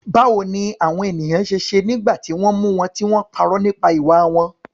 Báwo ni àwọn ènìyàn ṣe ṣe nígbà tí wọ́n mú wọn tí wọ́n parọ́ nípa ìwà wọn?